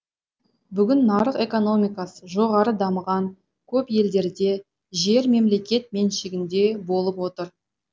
бүгін нарық экономикасы жоғары дамыған көп елдерде жер мемлекет меншігінде болып отыр